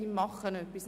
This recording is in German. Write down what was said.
Sie tut etwas.